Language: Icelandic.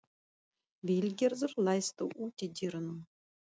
Vilgerður, læstu útidyrunum.